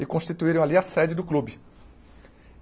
E constituíram ali a sede do clube.